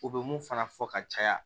U bɛ mun fana fɔ ka caya